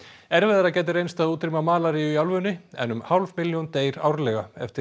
erfiðara gæti reynst að útrýma malaríu í álfunni en um hálf milljón deyr árlega eftir